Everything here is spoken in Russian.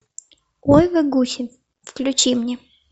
ой вы гуси включи мне